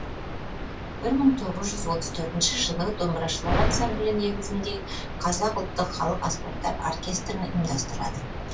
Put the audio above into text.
бір мың тоғыз жүз отыз төртінші жылы домбырашылар ансамблі негізінде қазақ ұлттық халық аспаптар оркестрін ұйымдастырады